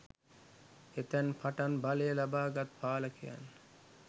එතැන් පටන් බලය ලබා ගත් පාලකයන්